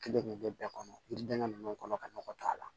Kelen de bɛ bɛɛ kɔnɔ yiriden ninnu kɔnɔ ka nɔgɔ don a la